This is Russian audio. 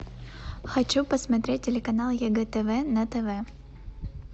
хочу посмотреть телеканал егэ тв на тв